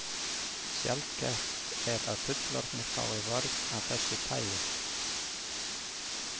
Sjaldgæft er að fullorðnir fái vörn af þessu tagi.